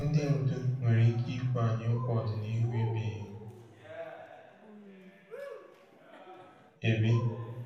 Ndị ndu nwere ike ikwe anyị nkwa ọdịnihu ebighị ebi.